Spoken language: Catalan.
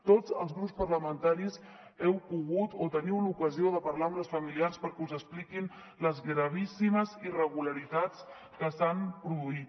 tots els grups parlamentaris heu pogut o teniu l’ocasió de parlar amb les familiars perquè us expliquin les gravíssimes irregularitats que s’han produït